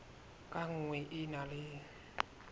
ka nngwe e na le